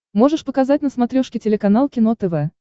можешь показать на смотрешке телеканал кино тв